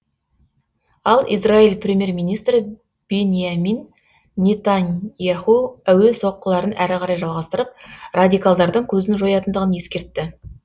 ал израиль премьер министрі биньямин нетаньяху әуе соққыларын әрі қарай жалғастырып радикалдардың көзін жоятындығын ескертті